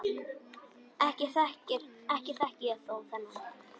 Ekki þekki ég þjó þennan.